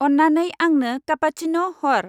अन्नानै, आंनो कापाचिन' हर।